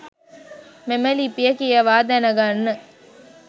මෙම ලිපිය කියවා දැනගන්න.